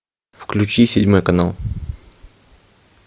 включи седьмой канал